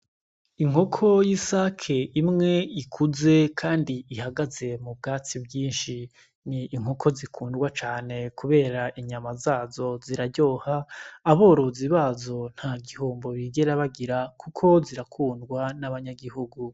Inkoko y'isake imwe ikuze, kandi ihagaze mu bwatsi bwinshi ni inkoko zikundwa cane, kubera inyama zazo ziraryoha aborozi bazo nta gihumbo bigera bagira, kuko zirakundwa n'abanyagihugu.